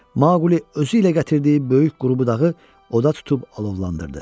Maquli özü ilə gətirdiyi böyük qrubudağı oda tutub alovlandırdı.